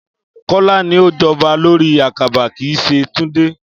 Kó̩lá ni ó jábó̩ lórí àkàbà, kì í s̩e Túndé